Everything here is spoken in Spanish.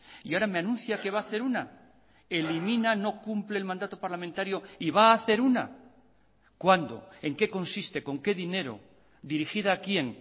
y ahora me anuncia que va a hacer una elimina no cumple el mandato parlamentario y va a hacer una cuándo en qué consiste con qué dinero dirigida a quién